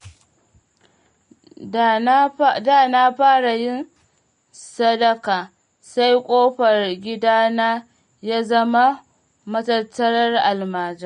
Da na fara yin sadaka, sai ƙofar gidana ya zama matattarar almajirai.